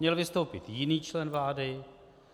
Měl vystoupit jiný člen vlády -